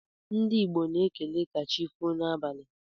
Ndi igbo na ekele kachifo na abali..